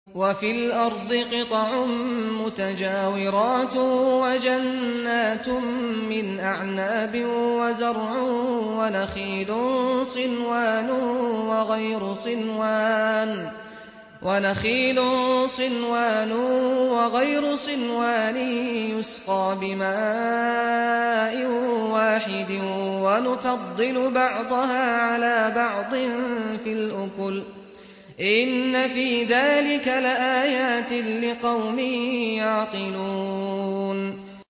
وَفِي الْأَرْضِ قِطَعٌ مُّتَجَاوِرَاتٌ وَجَنَّاتٌ مِّنْ أَعْنَابٍ وَزَرْعٌ وَنَخِيلٌ صِنْوَانٌ وَغَيْرُ صِنْوَانٍ يُسْقَىٰ بِمَاءٍ وَاحِدٍ وَنُفَضِّلُ بَعْضَهَا عَلَىٰ بَعْضٍ فِي الْأُكُلِ ۚ إِنَّ فِي ذَٰلِكَ لَآيَاتٍ لِّقَوْمٍ يَعْقِلُونَ